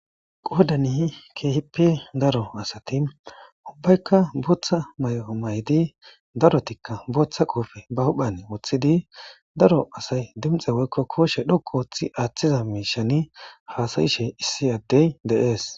Qoodani keehippe daro asati,ubbayka booththa mayo mayidi,darotika booththa qoofe be huphen woththidi,daro asay dinxe woyko kooshe dhoqqu histi haasa'iza miisha be sinthen woththidi haasa'ishe de'ees.